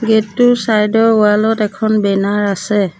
Gate টোৰ চাইদ ৰ ৱাল ত এখন বেনাৰ আছে।